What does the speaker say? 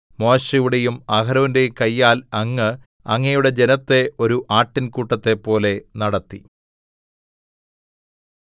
മോശെയുടെയും അഹരോന്റെയും കയ്യാൽ അങ്ങ് അങ്ങയുടെ ജനത്തെ ഒരു ആട്ടിൻകൂട്ടത്തെ പോലെ നടത്തി